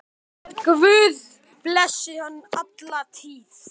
Guð blessi hann alla tíð.